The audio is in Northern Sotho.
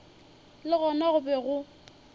le gona go be go